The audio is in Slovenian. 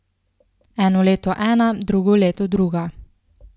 Eno leto ena, drugo leto druga.